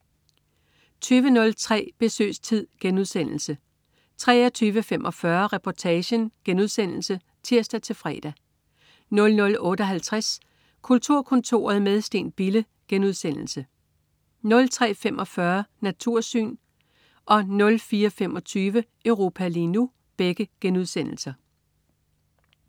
20.03 Besøgstid* 23.45 Reportagen* (tirs-fre) 00.58 Kulturkontoret med Steen Bille* 03.45 Natursyn* 04.25 Europa lige nu*